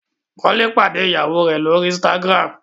Kole pàdé ìyàwó rẹ l'ori Instagram.